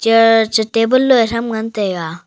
eh che table loe thram ngan taiga.